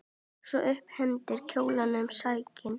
Svo upp undir kjólana sækinn!